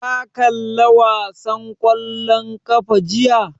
Ka kalla wasan ƙwallon ƙafa jiya?